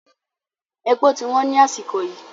Èpò ti wọ́n ni àsìkò yìí